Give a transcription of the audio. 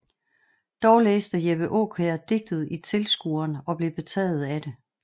Dog læste Jeppe Aakjær digtet i Tilskueren og blev betaget af det